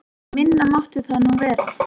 En minna mátti það nú vera.